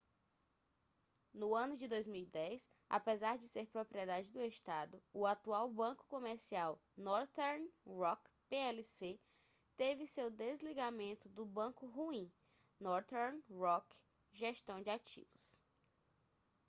no ano de 2010 apesar de ser propriedade do estado o atual banco comercial northern rock plc teve seu desligamento do ‘banco ruim’ northern rock gestão de ativos